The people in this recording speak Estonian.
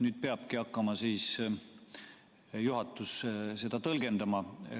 Nüüd peabki juhatus hakkama seda tõlgendama.